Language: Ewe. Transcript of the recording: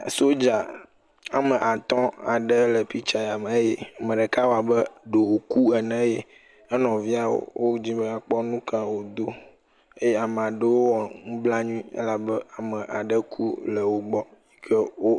Sodza ame atɔ̃ aɖe le piktsa ya me eye ame ɖeka wɔ abe ɖe wòku ene eye enɔvia wodim be woakpɔ nu ka wòdo. Eye amaa ɖewo wɔ nublanui elabe ame aɖe ku le wogbɔ yi ke.